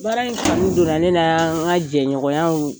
Baara in kanu donna ne na, n ka jɛɲɔgɔnyaw